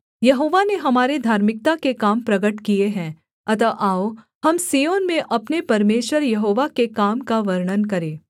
यहोवा ने हमारे धार्मिकता के काम प्रगट किए हैं अतः आओ हम सिय्योन में अपने परमेश्वर यहोवा के काम का वर्णन करें